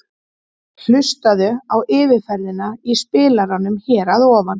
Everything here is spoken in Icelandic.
Hlustaðu á yfirferðina í spilaranum hér að ofan.